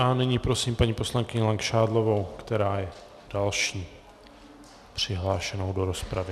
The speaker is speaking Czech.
A nyní prosím paní poslankyni Langšádlovou, která je další přihlášenou do rozpravy.